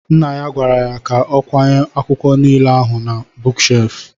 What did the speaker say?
Nna ya gwara ya ka ọ kwanye akwụkwọ nile ahụ na buuk shef